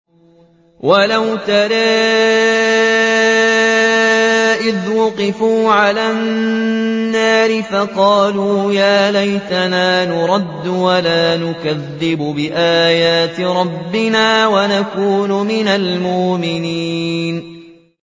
وَلَوْ تَرَىٰ إِذْ وُقِفُوا عَلَى النَّارِ فَقَالُوا يَا لَيْتَنَا نُرَدُّ وَلَا نُكَذِّبَ بِآيَاتِ رَبِّنَا وَنَكُونَ مِنَ الْمُؤْمِنِينَ